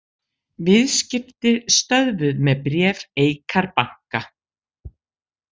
Viðskipti stöðvuð með bréf Eikar banka